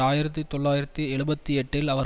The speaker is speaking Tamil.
ஆயிரத்தி தொள்ளாயிரத்து எழுபத்தி எட்டில் அவர்